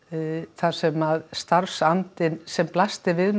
þar sem starfsandinn sem blasti við